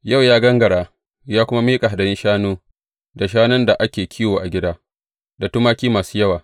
Yau ya gangara, ya kuma miƙa hadayun shanu, da shanun da ake kiwo a gida, da tumaki masu yawa.